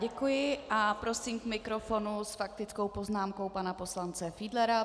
Děkuji a prosím k mikrofonu s faktickou poznámkou pana poslance Fiedlera.